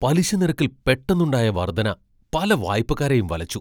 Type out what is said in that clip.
പലിശ നിരക്കിൽ പെട്ടെന്നുണ്ടായ വർധന പല വായ്പക്കാരെയും വലച്ചു.